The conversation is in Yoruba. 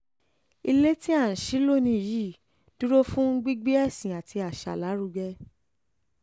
ilé tí à ń ṣí lónìí yìí dúró fún gbígbé ẹ̀sìn àti àṣà lárugẹ